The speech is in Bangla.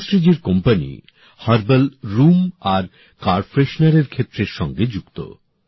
শুভাশ্রীজীর কোম্পানি হার্বাল রুম আর কার ফ্রেশনার ক্ষেত্রের সঙ্গে যুক্ত